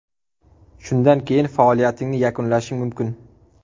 Shundan keyin faoliyatingni yakunlashing mumkin.